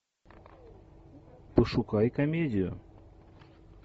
пошукай комедию